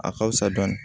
A ka fusa dɔɔni